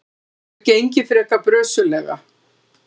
Þetta hefur gengið frekar brösuglega.